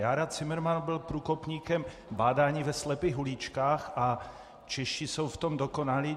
Jára Cimrman byl průkopníkem bádání ve slepých uličkách a Češi jsou v tom dokonalí.